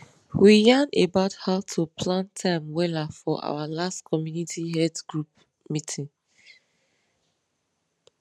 we yan about how to plan time wella for our last community health group meeting